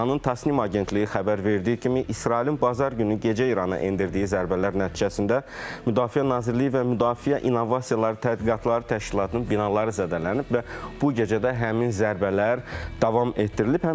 İranın Tasnim agentliyi xəbər verdiyi kimi, İsrailin bazar günü gecə İrana endirdiyi zərbələr nəticəsində Müdafiə Nazirliyi və Müdafiə İnnovasiyaları Tədqiqatları Təşkilatının binaları zədələnib və bu gecə də həmin zərbələr davam etdirilib.